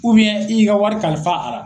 i y'i ka wari kalifa a la.